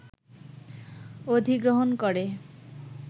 অধিগ্রহণ করে